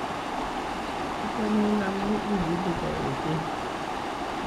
Achamin amu igiligei ochei